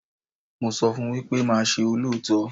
Mo sọ fún wípé máa ṣe olóòótọ́.